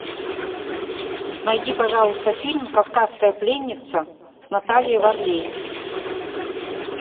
найди пожалуйста фильм кавказская пленница с натальей варлей